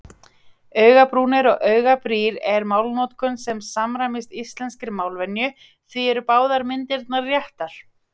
Augabrúnir og augabrýr er málnotkun sem samræmist íslenskri málvenju því eru báðar myndirnar réttar.